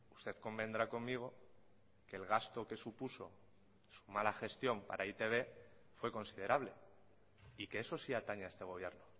usted convendrá conmigo que el gasto que supuso su mala gestión para e i te be fue considerable y que eso sí atañe a este gobierno